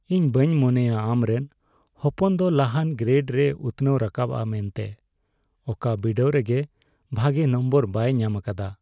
ᱤᱧ ᱵᱟᱹᱧ ᱢᱚᱱᱮᱭᱟ ᱟᱢᱨᱮᱱ ᱦᱚᱯᱚᱱ ᱫᱚ ᱞᱟᱦᱟᱱ ᱜᱨᱮᱰ ᱨᱮᱭ ᱩᱛᱷᱱᱟᱹᱣ ᱨᱟᱠᱟᱵᱚᱜᱼᱟ ᱢᱮᱱᱛᱮ ᱾ ᱚᱠᱟ ᱵᱤᱰᱟᱹᱣ ᱨᱮᱜᱮ ᱵᱷᱟᱜᱮ ᱱᱚᱢᱵᱚᱨ ᱵᱟᱭ ᱧᱟᱢ ᱟᱠᱟᱫᱟ ᱾